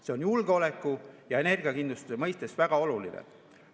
See on julgeoleku ja energiakindluse mõttes väga oluline.